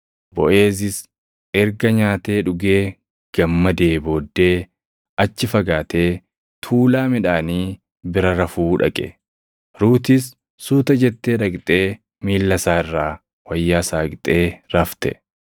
Boʼeezis erga nyaatee dhugee gammadee booddee achi fagaatee tuulaa midhaanii bira rafuu dhaqe. Ruutis suuta jettee dhaqxee miilla isaa irraa wayyaa saaqxee rafte.